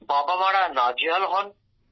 বাবা মারা নাজেহাল হন